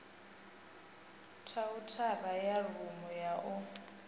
khaunthara ya rumu ya u